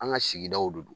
An ka sigidaw do